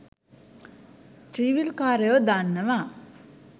ත්‍රීවීල්කාරයෝ දන්නවා